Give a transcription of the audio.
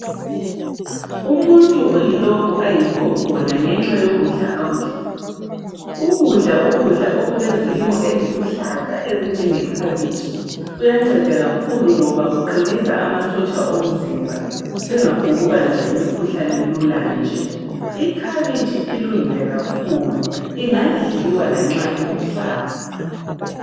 Umuntu uyilokhu ayikho khona ngenxa yokudla akudlayo. Ukudla ukudla okulezilimo eziluhlaza ezinjengekhabitshi, kuyanceda kakhulu ngoba kuqinisa amasotsha omzimba singaphongubanjwa yimikhuhlane lula nje. Ikhabitshi ilungile kakhulu ingadliwa lanxa iluhlaza.